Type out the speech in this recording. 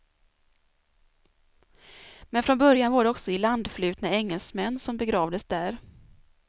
Men från början var det också ilandflutna engelsmän som begravdes där.